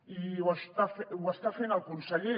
i ho està fent el conseller